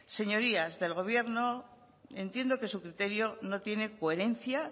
señorías del gobierno entiendo que su criterio no tiene coherencia